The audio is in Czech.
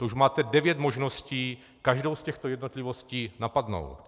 To už máte devět možností každou z těchto jednotlivostí napadnout.